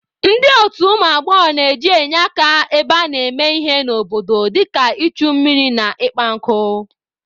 Ndị otu ụmụ agbọghọ na-eje enye aka ebe a na-eme ihe n'obodo dịka ichu mmiri na ịkpa nkụ.